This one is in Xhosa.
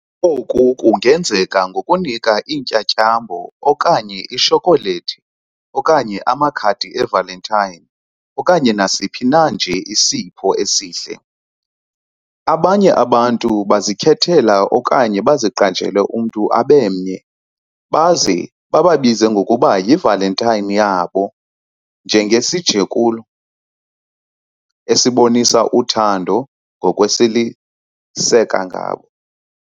Oku kungenzeka ngokunika iintyatyambo, okanye itshokholethi, okanye amakhadi e-Valentine okanye nasiphi na nje isipho esihle. Abanye abantu bazikhethela okanye baziqajele umntu abe mnye baze bababize ngokuba yi"Valentine" yabo njengesijekulo esibonisa uthando ngokwesiliseka ngabo.